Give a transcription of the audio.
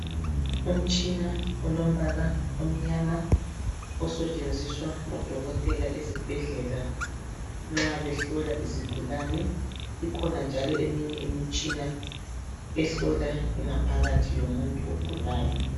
Umtshina olombala omnyama osetshenziswa ngodokotela ezibhedlela nxa behlola izigulane ikhona njalo eminye imitshina ehlola ingaphakathi yomuntu ogulayo.